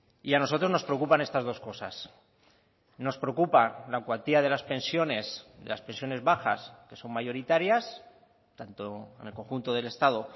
y a nosotros nos preocupan estas dos cosas nos preocupa la cuantía de las pensiones de las pensiones bajas que son mayoritarias tanto en el conjunto del estado